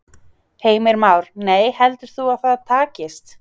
Heimir Már: Nei, heldur þú að það takist?